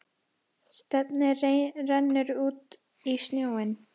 Stefnið rennur út í sjóinn.